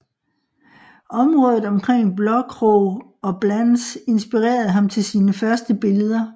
Området omkring Blåkrog og Blans inspirerede ham til sine første billeder